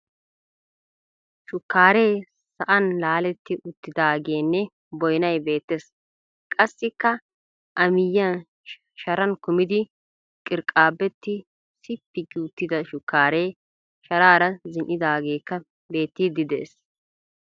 Shukkaaree sa'an laaletti uttiidaagenne boyinay beettes. Qassikka a miyyiyan Sharan kumidi qirqqaabbetti sippi gi uttida shukkaaree sharaara zin'idaageeka beettiidi dees.